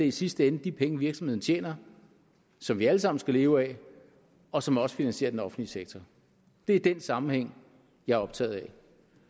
i sidste ende de penge virksomhederne tjener som vi alle sammen skal leve af og som også finansierer den offentlige sektor det er den sammenhæng jeg er optaget af